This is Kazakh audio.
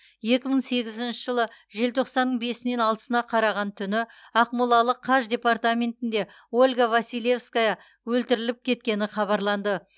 екі мың сегізінші жылы желтоқсанның бесінен алтысына қараған түні ақмолалық қаж департаментінде ольга василевская өлтіріліп кеткені хабарланды